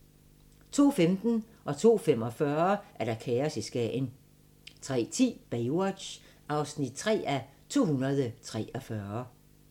02:15: Kaos i Skagen 02:45: Kaos i Skagen 03:10: Baywatch (3:243)